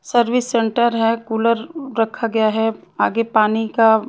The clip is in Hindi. सर्विस सेंटर है कूलर रखा गया है आगे पानी का--